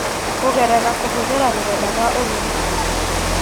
Kũgerera kũhũthĩra rũrenda rwa ũrigiti;